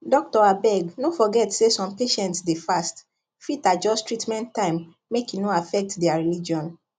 doctor abeg no forget say some patients dey fast fit adjust treatment time make e no affect their religion